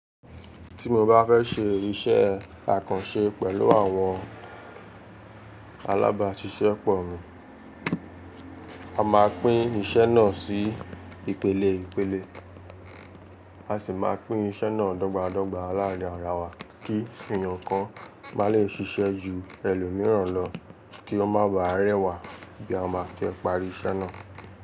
Tí mo bá fẹ́ ṣe iṣẹ́ akanṣe pẹ̀lú àwọn alábàáṣiṣẹ́ pọ̀ mí, a ma pín iṣẹ́ náà sí ìpele ìpele, a sì ma pín iṣẹ́ náà dọ́gbádọ́gba láàrin ara wa kí èèyàn kan ma lè ṣiṣẹ́ ju ẹlòmíràn lọ kí ó ma baà rẹwà bí a ma ti parí iṣẹ́ náà.